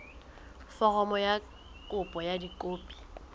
foromo ya kopo ka dikopi